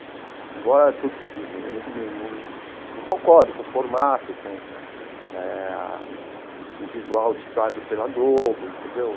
Embora eu não não concordo com o formato, com eh o visual ditado pela Globo, entendeu?